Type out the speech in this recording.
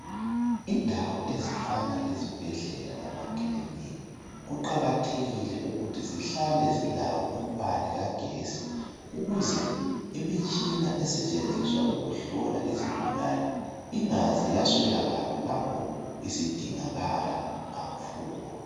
Indawo ezifana lezibhedlela lamaclinika, kuqakathekile ukuthi zihlale zilawo umbane kagesi ukuze imitshina esetshenziswa ukuhlola izigulane ingaze yaswelakala lapho isidingakala kakhulu.